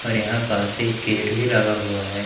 और यहां पास एक गेट भी लगा हुआ है।